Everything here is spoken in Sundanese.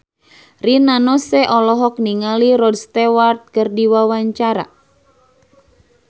Rina Nose olohok ningali Rod Stewart keur diwawancara